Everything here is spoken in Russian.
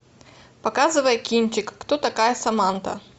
показывай кинчик кто такая саманта